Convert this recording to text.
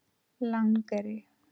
Langeyri